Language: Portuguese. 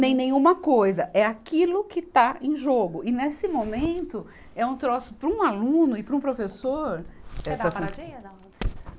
nem nenhuma coisa, é aquilo que está em jogo e nesse momento é um troço para um aluno e para um professor. Quer dar uma paradinha, não?